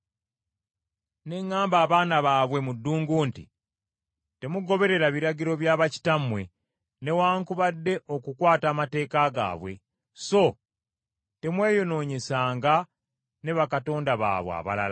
Ne ŋŋamba abaana baabwe mu ddungu nti, “Temugoberera biragiro bya bakitammwe, newaakubadde okukwata amateeka gaabwe, so temweyonoonyesanga ne bakatonda baabwe abalala.